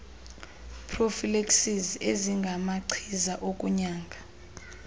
prophylaxis ezingamachiza okunyanga